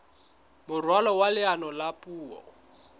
moralo wa leano la puo